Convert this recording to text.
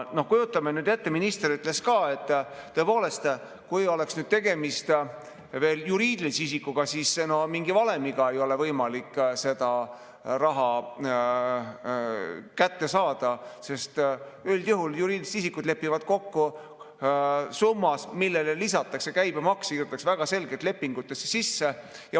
Kujutame ette, minister ütles ka, et tõepoolest, kui tegemist oleks juriidilise isikuga, siis mitte mingi valemiga ei oleks võimalik seda raha kätte saada, sest üldjuhul juriidilised isikud lepivad kokku summas, millele lisatakse käibemaks, see kirjutatakse väga selgelt lepingutesse sisse.